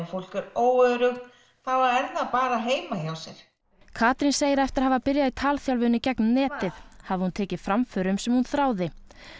fólk er óöruggt þá er það bara heima hjá sér Katrín segir að eftir að hafa byrjað í talþjálfun í gegnum netið hafi hún tekið framförum sem hún þráði